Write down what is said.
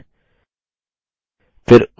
फिर ok पर click करें